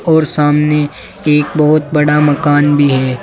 और सामने एक बहुत बड़ा मकान भी है।